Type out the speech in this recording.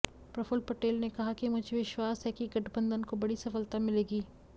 प्रफुल पटेल ने कहा कि मुझे विश्वास है कि गठबंधन को बड़ी सफलता मिलेगी